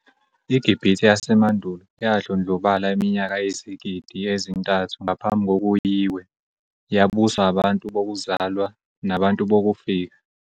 IGibhithe yasemandulo yadlondlobala iminyaka eyizigida ezintathu ngaphambi kokuyhi iwe, yabuswa abantu bokuzalwa nabantu bokufika.